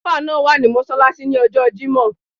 Alfa náà wà ní mọ́ṣáláṣí ní ọjọ́ọ jímọ̀.